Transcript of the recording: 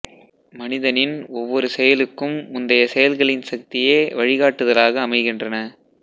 மனிதனின் ஒவ்வொரு செயலுக்கும் முந்தைய செயல்களின் சக்தியே வழிகாட்டுதலாக அமைகின்றன